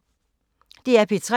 DR P3